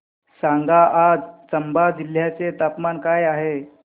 सांगा आज चंबा जिल्ह्याचे तापमान काय आहे